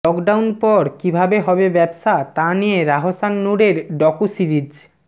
lockdown পর কীভাবে হবে ব্যবসা তা নিয়ে রাহসান নূরের ডকু সিরিজ